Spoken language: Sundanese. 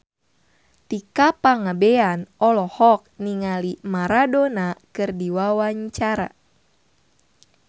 Tika Pangabean olohok ningali Maradona keur diwawancara